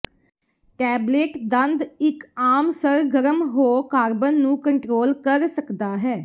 tablet ਦੰਦ ਇੱਕ ਆਮ ਸਰਗਰਮ ਹੋ ਕਾਰਬਨ ਨੂੰ ਕੰਟਰੋਲ ਕਰ ਸਕਦਾ ਹੈ